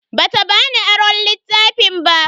Bata bani aron littafin ba.